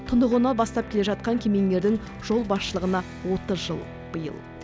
тұнығына бастап келе жатқан кемеңгердің жол басшылығына отыз жыл биыл